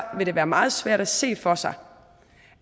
vil det være meget svært at se for sig